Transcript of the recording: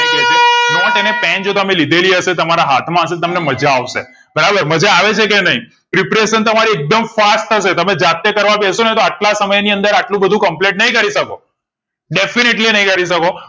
not અને pen જો તમે લીધેલી તમારા હાથ માં હશે તમને માજા આવશે બરાબર માજા આવે છે કે નઈ preparation તમારી એકદમ fast થશે તમે જાતે કરવા બેશો ને તો અટલા સમય ની અંદર એટલું બધું complete નહિ કરીશકો defently નહિ કરી શકો